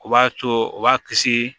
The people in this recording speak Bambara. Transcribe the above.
O b'a to u b'a kisi